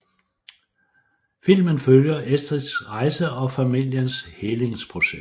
Filmen følger Estrids rejse og familiens helingsproces